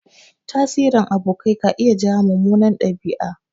Tasirin abokai ka iya jawo mummunan ɗabi'a.